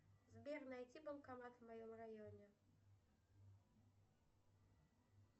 сбер найти банкомат в моем районе